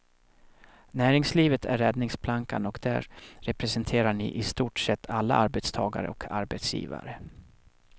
Näringslivet är räddningsplankan och där representerar ni i stort sett alla arbetstagare och arbetsgivare.